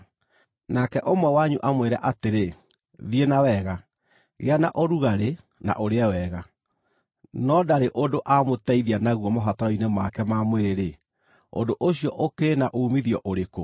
nake ũmwe wanyu amwĩre atĩrĩ, “Thiĩ na wega; gĩa na ũrugarĩ na ũrĩe wega,” no ndarĩ ũndũ aamũteithia naguo mabataro-inĩ make ma mwĩrĩ-rĩ, ũndũ ũcio ũkĩrĩ na uumithio ũrĩkũ?